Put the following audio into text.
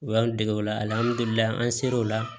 U y'an dege o la alihamdulilayi an ser'ola